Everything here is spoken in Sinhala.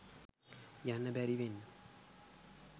යන්න බැරි වෙන්න